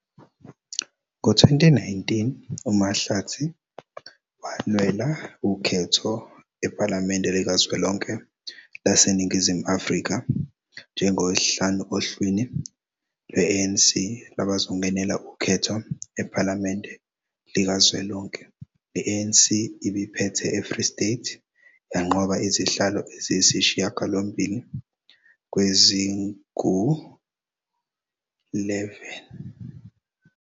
Ngo-2019, uMahlatsi walwela ukhetho ePhalamende Likazwelonke laseNingizimu Afrika njengo-5 ohlwini lwe-ANC lwabazongenela ukhetho ePhalamende Likazwelonke. I-ANC ibiphethe eFree State, yanqoba izihlalo eziyisishiyagalombili kwezingu-11.